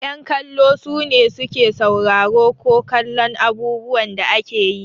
Yan kallo sune su ke sauraro ko kallon abubuwan da ake yi.